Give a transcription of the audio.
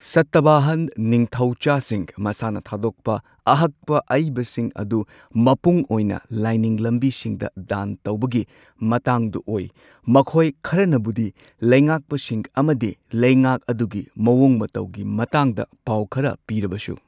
ꯁꯇꯚꯥꯍꯥꯟ ꯅꯤꯡꯊꯧꯆꯥꯁꯤꯡ ꯃꯁꯥꯅ ꯊꯥꯗꯣꯛꯄ ꯑꯍꯛꯄ ꯑꯏꯕꯁꯤꯡ ꯑꯗꯨ ꯃꯄꯨꯡ ꯑꯣꯏꯅ ꯂꯥꯏꯅꯤꯡ ꯂꯝꯕꯤꯁꯤꯡꯗ ꯗꯥꯟ ꯇꯧꯕꯒꯤ ꯃꯇꯥꯡꯗ ꯑꯣꯏ꯫ ꯃꯈꯣꯏ ꯈꯔꯅꯕꯨꯗꯤ ꯂꯩꯉꯥꯛꯄꯁꯤꯡ ꯑꯃꯗꯤ ꯂꯩꯉꯥꯛ ꯑꯗꯨꯒꯤ ꯃꯑꯣꯡ ꯃꯇꯧꯒꯤ ꯃꯇꯥꯡꯗ ꯄꯥꯎ ꯈꯔ ꯄꯤꯔꯕꯁꯨ꯫